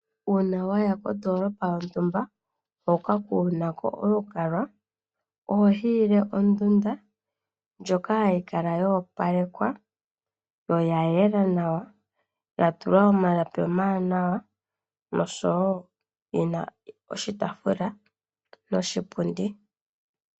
Uuna waya kondoolopa yontumba hoka kuuna ko olukalwa oho hiile ondunda ndjoka hayi kala yo opalekwa yo oya yela nawa, ya tulwa omalapi omawanawa noshowo yi na oshitaafula noshipundi.